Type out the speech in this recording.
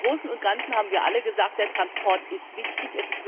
Aber im Großen und Ganzen haben wir alle gesagt Der Verkehr ist wichtig.